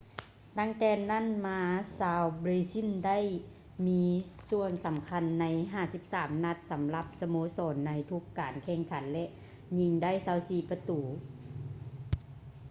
ຕັ້ງແຕ່ນັ້ນມາ ຊາວເບຼຊິນໄດ້ມີສ່ວນສຳຄັນໃນ 53 ນັດ ສຳລັບສະໂມສອນໃນທຸກການແຂ່ງຂັນ ແລະ ຍິງໄດ້ 24 ປະຕູ